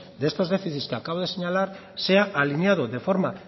de estos déficits que acabo de señalar sea alineado de forma